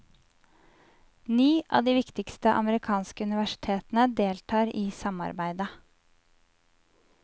Ni av de viktigste amerikanske universitetene deltar i samarbeidet.